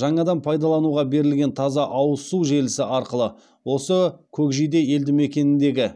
жаңадан пайдалануға берілген таза ауыз су желісі арқылы осы көкжиде елді мекеніндегі